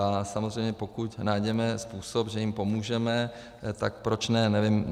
A samozřejmě pokud najdeme způsob, že jim pomůžeme, tak proč ne.